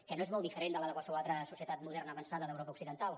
que no és molt diferent de la de qualsevol altra societat moderna avançada d’europa occidental